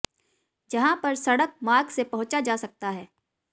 जहा पर सड़क मार्ग से पहुंचा जा सकता है